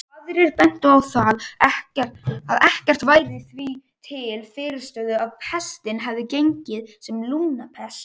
Aðrir bentu á að ekkert væri því til fyrirstöðu að pestin hefði gengið sem lungnapest.